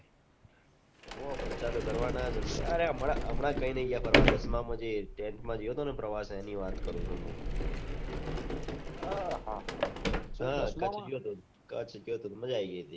જલસા તો કરવાના જ ને અરે અમના અમના ક્યાયનહી ગયા ફરવા દસમાં માં જે camp મા જ્યોતો ને પ્રવાસ એનીવાત કરું છુમુ અ હા કચ્છ ગયો તો કચ્છ ગયો તો મજા આયી ગઈ હતી